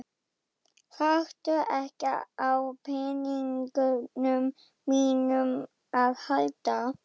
Þarftu ekki á peningunum mínum að halda!